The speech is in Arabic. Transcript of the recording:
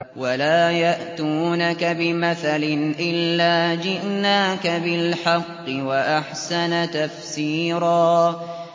وَلَا يَأْتُونَكَ بِمَثَلٍ إِلَّا جِئْنَاكَ بِالْحَقِّ وَأَحْسَنَ تَفْسِيرًا